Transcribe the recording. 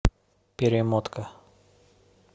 перемотка